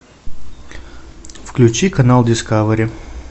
включи канал дискавери